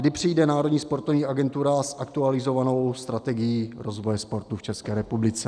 Kdy přijde Národní sportovní agentura s aktualizovanou strategií rozvoje sportu v České republice?